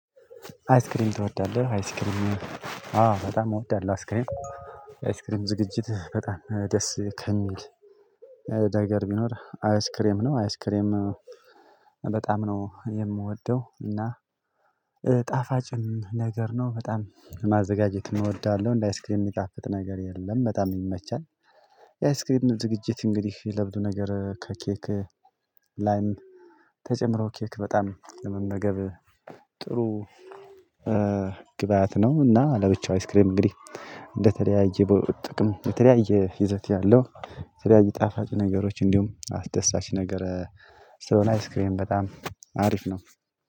አይስክሬም ትወዳለህ? አይስክሬም አዎ በጣም እወዳለሁ። አይስክሬም አይስክሬም ዝግጅት በጣም ደስ ከሚል ነገር ቢኖር አይስክሬም ነው። አይስክሬም በጣም ነው የምወደው። እና ጣፋጭም ነገር ነው። በጣም ማዘጋጀትም እወዳለሁ። እንደ አይስክሬም የሚጣፍጥ ነገር የለም በጣም ይመቻል። የአይስክሬም ዝግጅት እንግዲህ ለብዙ ነገር ከኬክ ላይም ተጨምሮ ኬክ በጣም ለመመገብ ጥሩ ግብአት ነው። እና ለብቻው አይስክሬም እንግዲህ እንደተለያየ ጥቅም የተለያየ ይዘት ያለው ስለዚህ ጣፋጭ ነገሮች እንዲሁም አስደሳች ነገር ስለሆነ አይስክሬም በጣም አሪፍ ነው።